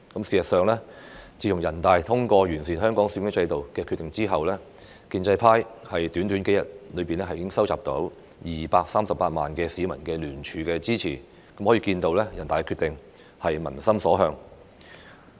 事實上，自從人大通過完善香港選舉制度的《決定》後，建制派短短數日已經收集到238萬名市民聯署支持，可見人大的《決定》是民心所向。